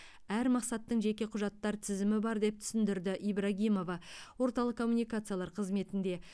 әр мақсаттың жеке құжаттар тізімі бар деп түсіндірді ибрагимова орталық коммуникациялар қызметінде